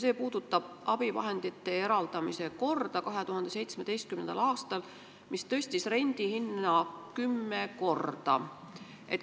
See puudutab abivahendite eraldamise korda 2017. aastal, mis tõstis rendihinda kümme korda.